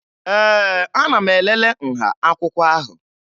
Ee, ana m elele nha akwụkwọ ahụ